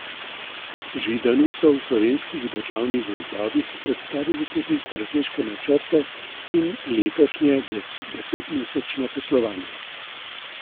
Židanu so v Slovenskih državnih gozdovih predstavili tudi strateške načrte in letošnje desetmesečno poslovanje.